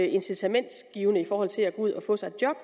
incitamentsgivende i forhold til at gå ud og få sig et job